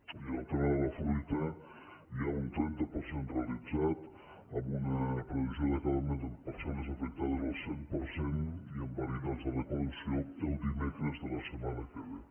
i en el tema de la fruita hi ha un trenta per cent realitzat amb una previsió d’acabament en parcel·les afectades al cent per cent i en varietats de recolve